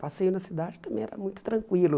Passeio na cidade também era muito tranquilo.